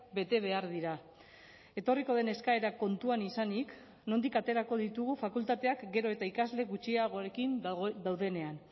bete behar dira etorriko den eskaera kontuan izanik nondik aterako ditugu fakultateak gero eta ikasle gutxiagorekin daudenean